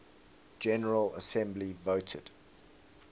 general assembly voted